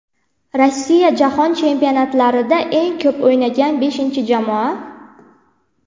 Rossiya: Jahon Chempionatlarida eng ko‘p o‘ynagan beshinchi jamoa.